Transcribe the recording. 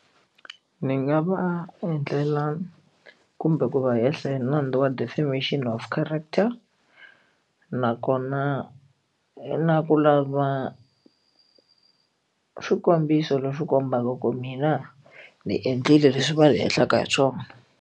Ni nga va endlela kumbe ku va hehla nandzu wa defamition of character nakona i na ku lava swikombiso leswi kombaka ku mina ni endlile leswi va swi va ni hehlaka hi swona.